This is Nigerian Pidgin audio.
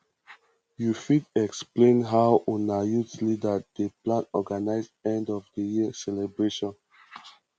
you fit explain how una youth leader dey plan organize end of the year celebration